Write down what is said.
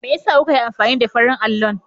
Me yasa kuka yi amfani da farin allon?